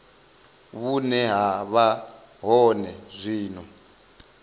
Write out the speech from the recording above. vhune ha vha hone zwino